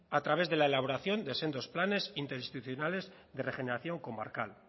a través de la elaboración de sendos planes interinstitucionales de regeneración comarcal